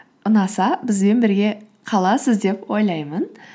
ұнаса бізбен бірге қаласыз деп ойлаймын